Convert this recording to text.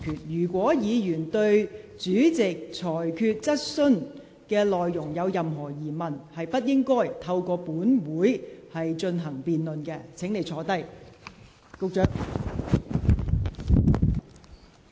如議員對主席的裁決有任何疑問，也不應在立法會會議上辯論他的裁決。